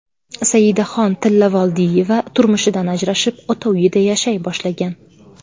Saidaxon Tillavoldiyeva turmushidan ajrashib, ota uyida yashay boshlagan.